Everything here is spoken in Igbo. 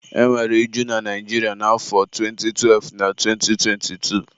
e nwere iju na Naijiria na afọ 2012 na 2022